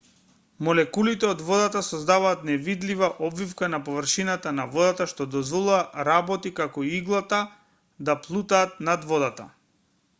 молекулите од водата создаваат невидлива обвивка на површината на водата што дозволува работи како иглата да плутаат на водата